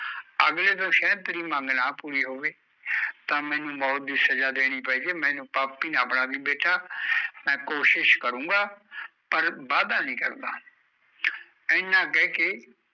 ਅਗਲੇ ਤੋਂ ਸ਼ੈਦ ਤੇਰੀ ਮੰਗ ਨਾ ਪੂਰੀ ਹੋਵੇ, ਤਾਂ ਮੈਂਨੂੰ ਮੌਤ ਦੀ ਸਜ਼ਾ ਦੇਨੀ ਪੈਜੇ, ਮੈਂਨੂੰ ਪਾਪੀ ਨਾ ਬਣਾਂਦੀ ਬੇਟਾ, ਕੋਸ਼ਿਸ਼ ਕਰੁਗਾ ਪਰ ਵਾਦਾ ਨੀ ਕਰਦਾ ਏਨਾਂ ਕਹਿ ਕੇ